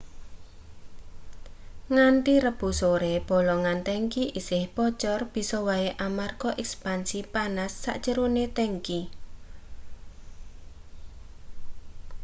nganthi rebo sore bolongan tangki isih bocor bisa wae amarga ekspansi panas sajerone tangki